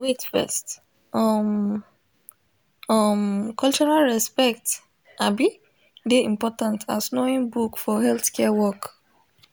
wait first um um cultural respect um dey important as knowing book for healthcare work